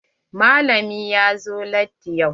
Malamin ya zo latti yau.